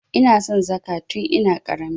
Ina son Dhaka tin ina ƙarami.